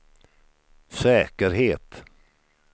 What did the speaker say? säkerhet